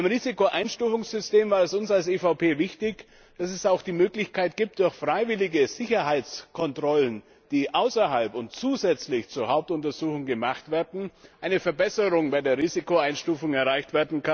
Beim Risikoeinstufungssystem war es uns als EVP wichtig, dass es auch die Möglichkeit gibt, durch freiwillige Sicherheitskontrollen, die außerhalb und zusätzlich zur Hauptuntersuchung gemacht werden, eine Verbesserung bei der Risikoeinstufung zu erreichen.